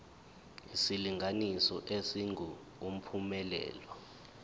isilinganiso esingu uphumelele